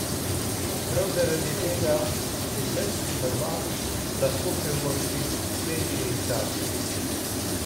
Prav zaradi tega si srbski prvak lahko privošči večje izdatke.